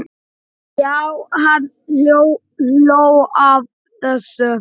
Já, hann hló að þessu!